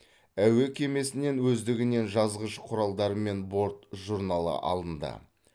әуе кемесінен өздігінен жазғыш құралдары мен борт журналы алынды